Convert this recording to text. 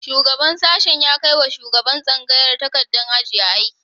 Shugaban sashen ya kai wa shugaban tsangaya takardar ajiye aiki